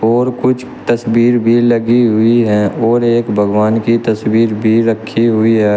और कुछ तस्वीर भी लगी हुई है और एक भगवान की तस्वीर भी रखी हुई है।